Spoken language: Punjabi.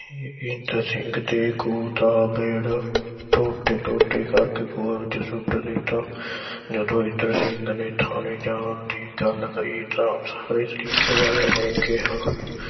ਬਚਿੱਤਰ ਸਿੰਘ ਦੇ ਖੂਹ ਦਾ gate ਟੋਟੇ ਟੋਟੇ ਕਰਕੇ ਖੂਹ ਵਿਚ ਸੁੱਟ ਦਿੱਚਾ। ਜਦੋਂ ਬਚਿੱਤਰ ਸਿੰਘ ਨੇ ਥਾਣੇ ਜਾਣ ਦੀ ਗੱਲ ਕਹੀ ਤਾਂ ਵਾਲਿਆਂ ਨੇ ਕਿਹਾ